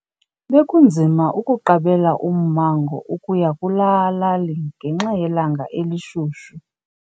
Bekunzima ukuqabela ummango ukuya kulaa lali ngenxa yelanga elishushu.